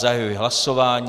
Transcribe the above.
Zahajuji hlasování.